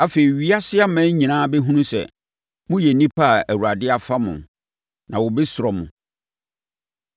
Afei, ewiase aman nyinaa bɛhunu sɛ, moyɛ nnipa a Awurade afa mo, na wɔbɛsuro mo.